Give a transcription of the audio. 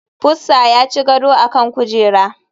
Pussa ya ci gado a kan kujera.